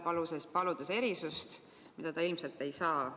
Ta palub erisust, mida ta ilmselt ei saa.